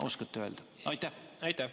Kas oskate öelda?